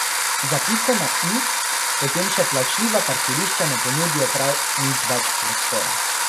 Za piko na i potem še plačljiva parkirišča ne ponudijo prav nič več prostora.